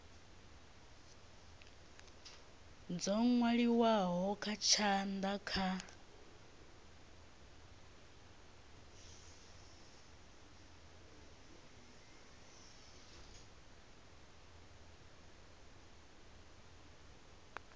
dzo nwaliwaho nga tshanda kha